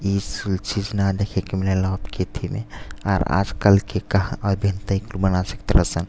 ई सु चीज़ न देखे के मिलेला अबके एथी में। आर आज कलके कहा --